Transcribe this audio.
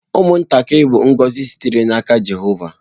Ụmụntakịrị bụ ngọzi sitere n’aka Jehova.